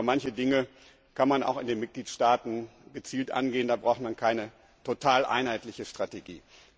Aber manche Dinge kann man auch in den Mitgliedstaaten gezielt angehen, da braucht man keine total einheitliche Strategie.